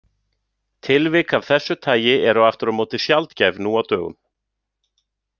Tilvik af þessu tagi eru aftur á móti sjaldgæf nú á dögum.